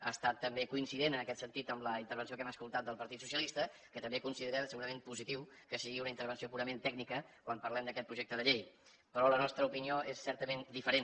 ha estat també coincident en aquest sentit amb la intervenció que hem escoltat del partit socialista que també considera segurament positiu que sigui una intervenció purament tècnica quan parlem d’aquest projecte de llei però la nostra opinió és certament diferent